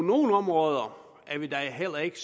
nogle områder er vi da heller ikke